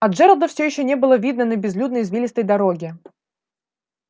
а джералда все ещё не было видно на безлюдной извилистой дороге